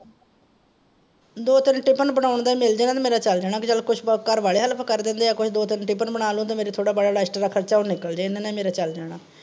ਦੋ ਤਿੰਨ ਟਿਫਨ ਬਣਾਉਣ ਦਾ ਹੀ ਮਿਲ ਜੇ ਨਾ ਮੇਰਾ ਚੱਲ ਜਾਣਾ ਬੀ ਚੱਲ ਕੁਛ ਘਰ ਵਾਲੇ help ਕਰ ਦੇਂਦੇ ਆ ਕੁਛ ਦੋ ਤਿੰਨ ਟਿਫਿਨ ਬਣਾ ਲੈਣ ਤੇ ਮੇਰੇ . ਦਾ ਖਰਚਾ ਉਹ ਨਿੱਕਲ ਜੇ, ਇੰਨੇ ਨਾਲ ਈ ਮੇਰਾ ਚੱਲ ਜਾਣਾ।